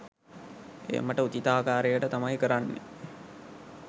එය මට උචිත ආකාරයට තමයි කරන්නේ